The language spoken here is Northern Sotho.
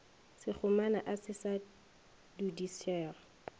sekgomana a se sa dudišega